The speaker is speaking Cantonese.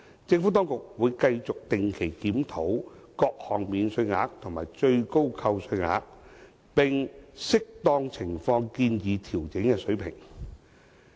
政府當局會繼續定期檢討各項免稅額和最高扣除額，並按適當情況建議調整的水平。